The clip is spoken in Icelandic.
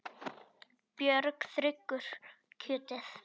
Björn þiggur kjötið.